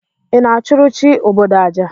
Ị na-achụrụ chi obodo aja?